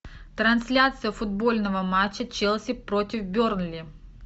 трансляция футбольного матча челси против бернли